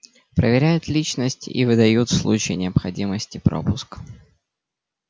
проверяют личность и выдают в случае необходимости пропуск